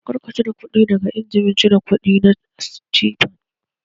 Kar ka cire kuɗi daga injimin cire kuɗi na Citibank!